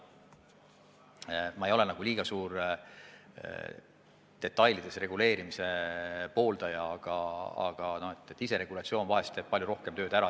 Ma ei ole eriline detailideni reguleerimise pooldaja, iseregulatsioon vahel teeb palju rohkem tööd ära.